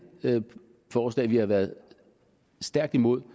forslag som vi har været stærkt imod og